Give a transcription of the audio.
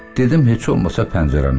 Dedim heç olmasa pəncərəni açım.